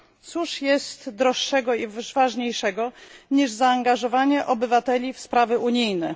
Cóż jest droższego i ważniejszego niż zaangażowanie obywateli w sprawy unijne?